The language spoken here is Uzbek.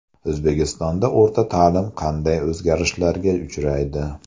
O‘zbekistonda o‘rta ta’lim qanday o‘zgarishlarga uchraydi?.